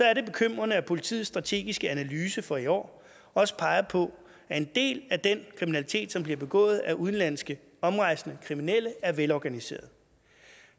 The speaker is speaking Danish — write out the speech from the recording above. er det bekymrende at politiets strategiske analyse for i år også peger på at en del af den kriminalitet som bliver begået af udenlandske omrejsende kriminelle er velorganiseret